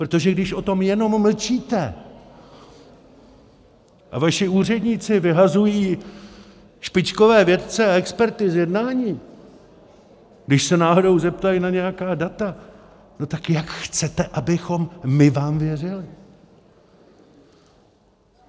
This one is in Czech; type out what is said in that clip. Protože když o tom jenom mlčíte a vaši úředníci vyhazují špičkové vědce a experty z jednání, když se náhodou zeptají na nějaká data, no tak jak chcete, abychom my vám věřili?